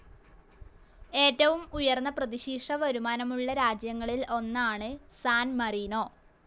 ഏറ്റവും ഉയർന്ന പ്രതിശീർഷ വരുമാനമുള്ള രാജ്യങ്ങളിൽ ഒന്നാണ് സാൻ മരീനോ.